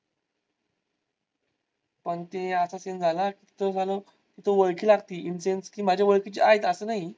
पण तो असा scene झाला तिथं ओळखी लागती insense कि माझ्या ओळखीचे आहेत असं नाही.